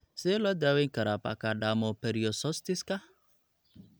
Sidee loo daweyn karaa pachydermoperiostosiska?